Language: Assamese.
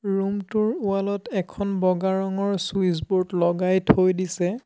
ৰূমটোৰ ৱালত এখন বগা ৰঙৰ চুইচ ব'ৰ্ড লগাই থৈ দিছে।